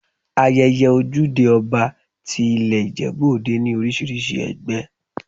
Ayẹyẹ Ojúde Ọba ti i ilé Ìjẹ̀bú Òde ní oríṣiríṣi ẹgbẹ́.